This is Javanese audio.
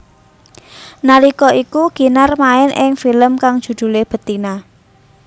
Nalika iku Kinar main ing film kang judhulé Betina